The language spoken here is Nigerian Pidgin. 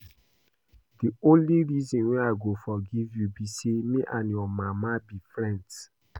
The only reason I go forgive you be say me and your mama be friends